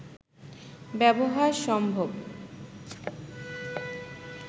ব্যবহার সম্ভব